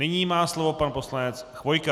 Nyní má slovo pan poslanec Chvojka.